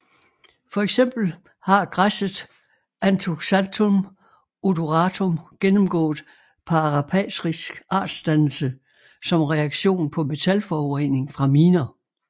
For eksempel har græsset Anthoxanthum odoratum gennemgået parapatrisk artsdannelse som reaktion på metalforurening fra miner